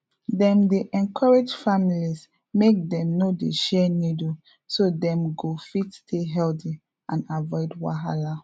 dem dey encourage families make dem no dey share needle so dem go fit stay healthy and avoid wahala